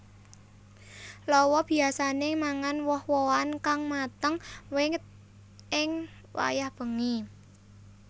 Lawa biyasané mangan woh wohan kang mateng wit ing wayah bengi